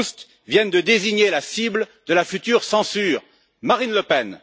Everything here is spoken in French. Proust, viennent de désigner la cible de la future censure Marine Le Pen.